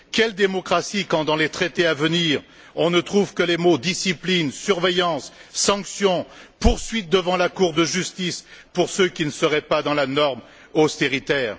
Quelle démocratie quand, dans les traités à venir, on ne trouve que les mots discipline, surveillance, sanctions, poursuites devant la Cour de justice, pour ceux qui ne seraient pas dans la norme austéritaire?